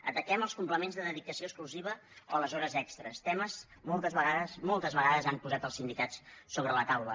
ataquem els complements de dedicació exclusiva o les hores extres temes que moltes vegades han posat els sindicats sobre la taula